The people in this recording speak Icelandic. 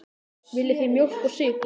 Viljið þið mjólk og sykur?